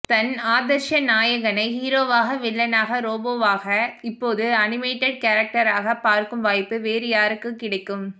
தன் ஆதர்ச நாயகனை ஹீரோவாக வில்லனாக ரோபோவாக இப்போது அனிமேட்டட் கேரக்ட்ராக பார்க்கும் வாய்ப்பு வேறு யாருக்கு கிடைக்கும்